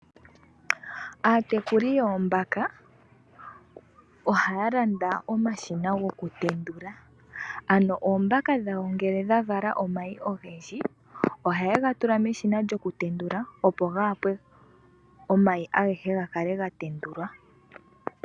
Aatekuli yoombaka oha landa omashina goku tendula. Ano oombaka dhawo ngele dha vala omayi ogendji ohaye ga tula meshina lyoku tendula opo ga kale ga tendulwa.